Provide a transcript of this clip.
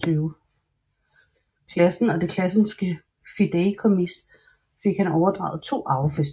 Classen og Det Classenske Fideicommis fik han overdraget to arvefæstere